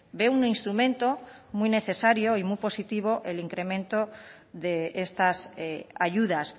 ve un instrumento muy necesario y muy positivo el incremento de estas ayudas